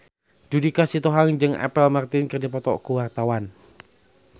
Judika Sitohang jeung Apple Martin keur dipoto ku wartawan